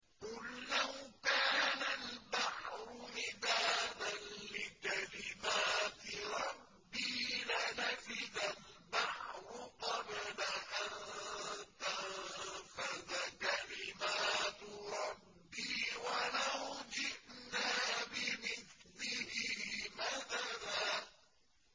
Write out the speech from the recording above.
قُل لَّوْ كَانَ الْبَحْرُ مِدَادًا لِّكَلِمَاتِ رَبِّي لَنَفِدَ الْبَحْرُ قَبْلَ أَن تَنفَدَ كَلِمَاتُ رَبِّي وَلَوْ جِئْنَا بِمِثْلِهِ مَدَدًا